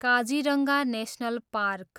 Kaziranga national park